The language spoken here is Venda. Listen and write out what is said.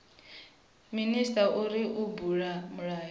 minisita uri a bule milayo